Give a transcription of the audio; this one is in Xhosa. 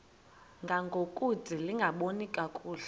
ngangokude lingaboni kakuhle